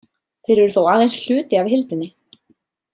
Þeir eru þó aðeins hluti af heildinni.